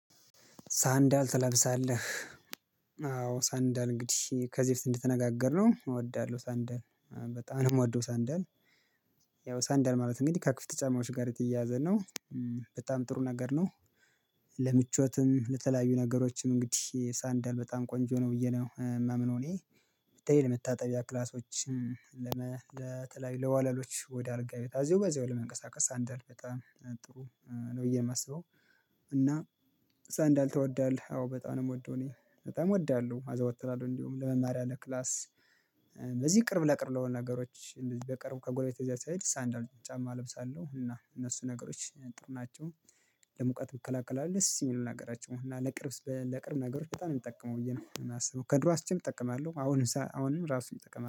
ሳንዳል ትለብሳለህ? አዎ ሳንዳል እንግዲህ ከዚህ በፊት እንድትነጋገር ነው እወዳለሁ ሳንዳል በጣም ነው የምወደው ሳንደል። ያው ሳንደል ማለት እንግዲህ ከክፍት ጫማዎች ጋር የተያያዘ ነው። በጣም ጥሩ ነገር ነው። ለምቾትም ለተለያዩ ነገሮችም እንግዲህ ሳንዳል በጣም ቆንጆ ነው ብዬ ነው የማምነው እኔ ተለይ ለመታጠቢያ ክላሶች። ለተለያዩ ለዋለሎች ወደ አድርጋ ቤት አዘው በዚህ ወር ለመንቀሳቀስ ሳንዳል በጣም ጥሩ ነው ብዬ ነው የማስበው። እና ሳንዳል ትወዳለህ? አዎ በጣም ነው የምወደው እኔ በጣም እወዳለሁ አዘወተናለሁ እንዲሁም ለመማር ያለ ክላስ። በዚህ ቅርብ ለቅርብ ለሆነ ነገሮች እንደዚህ በቅርብ ከጎረቤት እዚያ ሲያይድ ሳንዳል ጫማ እለብሳለሁ እና እነሱ ነገሮች ጥሩ ናቸው። ለሙቀት ይከላከል ደስ የሚል ነገራቸው እና ለቅርብ ለቅርብ ነገሮች በጣም እንጠቀመው ብዬ ነው የማስበው። ከድሮ እጠቀማለሁ አሁንም አሁንም ራሱን እጠቀማለሁ